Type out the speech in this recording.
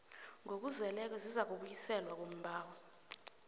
ngokuzeleko zizakubuyiselwa kumbawi